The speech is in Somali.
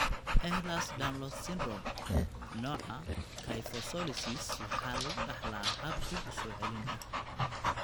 Ehlers Danlos Syndrome, nooca kyphoscoliosis waxaa lagu dhaxlaa hab dib u soo celin ah.